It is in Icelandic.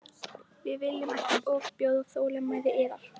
Við viljum ekki ofbjóða þolinmæði yðar.